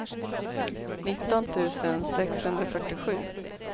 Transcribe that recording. nitton tusen sexhundrafyrtiosju